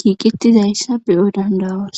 giiqettizayssa beyo dandawas